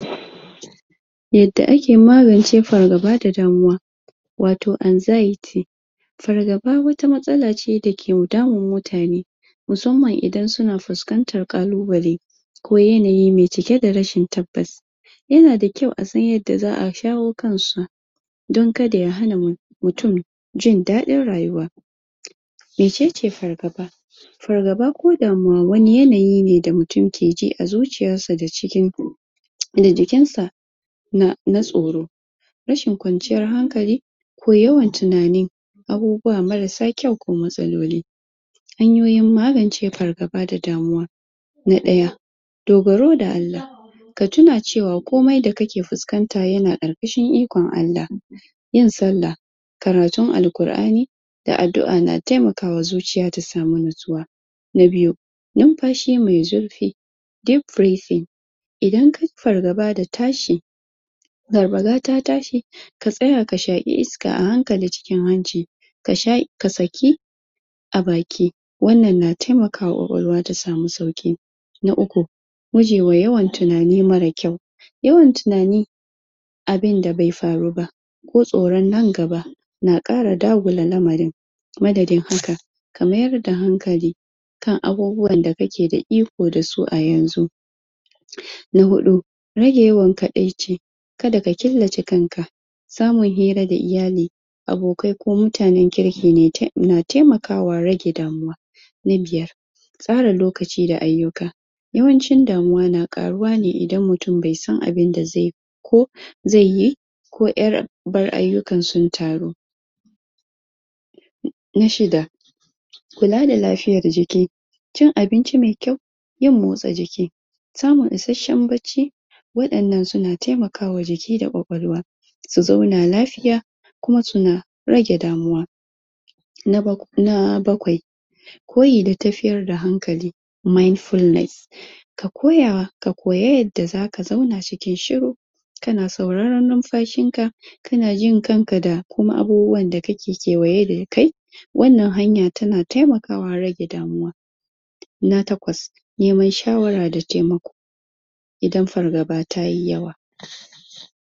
yadda ake magance fargaba da damuwa wato anxiety fargaba wata matsala ce da ke damun mutane musamman idan yana fuskantan kalubale ko yanayi mai cike da tabbas yana da kyau asan yadda zaa shawo kansu dan kada ya hana mutun jin dadin rayuwa mecece fargaba fargaba ko damuwa wani yanayi ne, da mutunnke ji a cikin zuciyarsa da jikin da jikin na tsoro rashin kwanciyar hankali ko yawan tunani abubuwa marar sa kyau ko matsaloli hanyoyin magance fargaba da damuwa na daya dogoro da Allah ka sani cewa komai da kake fuskanta yana karkashin ikon Allah yin sallah karatun alkurani da adua na taimakawa zuciya ta samu nutsuwa na biyu infashi mai zurfi deep breathing idan kayi fargaba da tashi garbaga ta tashi ka tsaya ka shaki iska a hankali cikin hanci ka saki a baki wan nan na taimakawa kwakwalwa ta samu sauki na uku muji mai yawan tunani, marar kyau yawan tunani abin da bai faruba ko tsoron nan gaba na kara damula ramarin madadin hakan, ka mayar da hankali kan abubuwan da kake da iko a yanzu na hudu rage yawan kadaici kada ka killace kanka samun hira da iyali abokai ku mutanen kirkine na taimakawa rage damuwa na biyar tsara lokaci da aiyuka yawancin damuwa na karuwane idan mutun baisan abun da zai ko zai yi ko subar aiyukan sai sun taru na shida kula da dlafiayan jiki cin abinci mai kyau yin motsa jiki samun isheshshen bacci wayan nan suna taimakwa jiki da kwakwalwa su zauna lafiya kuma su rage damuwa na bakwai koyi da tafiryar da hankali mindfulness koyawa, ka koyi yadda zaka zauna cikin shuru kana sauraron ninfashinka kana jin kanka da kuma abubnuwan da yake kewaye da kai wan nan hanya tana taimakawa wajen rage damuwa na takwas, neman shawara da taimako idan fargaba tayi yawa